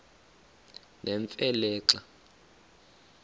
nemfe le xa